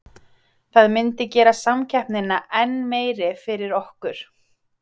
Það myndi gera samkeppnina enn meiri fyrir okkur.